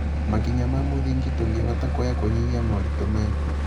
makinya ma mũthingi tũngĩhota kuoya kũnyihia moritũ maya?